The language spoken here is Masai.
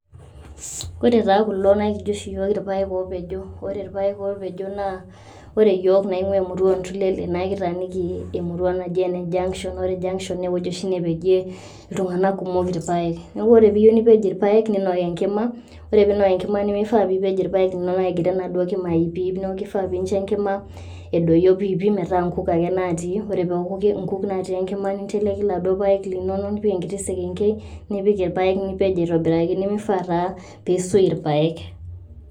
Ore taa kulo naa kijo oshi iyook ilpaek opejo. Ore ilpaek opejo naa, ore iyook naing'ua emurua o Ntulele, naa kitaaniki emurua naji ene Junction, naa ore Junction, naa ewueji oshi nepejie iltung'ana kumok ilpaek. Neaku ore pee iyeu nipej ilpaek, ninok enkima, naa ore piinok enkima, nimifaa piipej ilpaek linono egira enaduo kima aipiipii neaku keifaa nincho enkima idoyio pipii metaa nkuk ake naatii enkima, ninteleki laduo paek linono, nipik enkiti sekenkei nipik ilpaek nipej aitobiraki. Nemeifaa taa peeisui ilpaek.